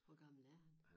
Hvor gammel er han?